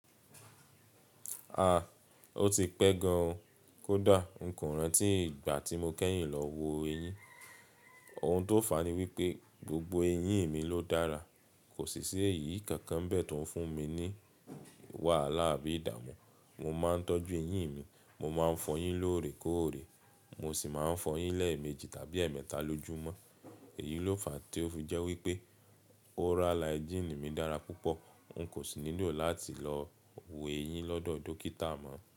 A! Ó ti pẹ́ gan o, kódà ńko rántí ìgbà tí mo kẹ́yìn lọ wo eyín. Ohun tó fàá ní wípé gbogbo eyín mi ló dára, kò sì sí eyì kankan bẹ́ tó ń fún mi ní wàhálà àbí ìdààmú. Mo ma n tọ́jú eyín mi, mo ma n fọ yín lórè kórè, mo sì ma n fọ yín lẹ́ẹ̀ méjì tàbí ẹ́ẹ̀mẹta lójúmọ́. Èyí ló fàà tí ó jẹ́ wípé oral hygiene mi dára púpọ̀, n kò sì nílò láti lọ wo eyín lọ́dọ̀ dókítà mọ́